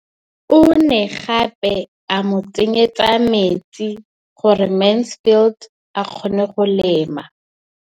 O ne gape a mo tsenyetsa metsi gore Mansfield a kgone go lema.